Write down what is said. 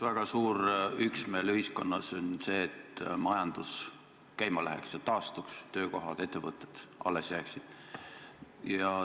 Väga suur üksmeel ühiskonnas on selles, et majandus käima läheks ja taastuks, töökohad ja ettevõtted alles jääksid.